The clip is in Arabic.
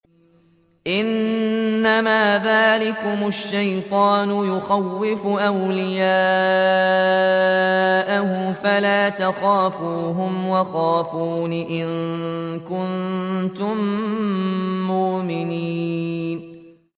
إِنَّمَا ذَٰلِكُمُ الشَّيْطَانُ يُخَوِّفُ أَوْلِيَاءَهُ فَلَا تَخَافُوهُمْ وَخَافُونِ إِن كُنتُم مُّؤْمِنِينَ